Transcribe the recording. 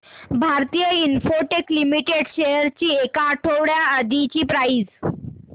Bharti Infratel limited shares ची एक आठवड्या आधीची प्राइस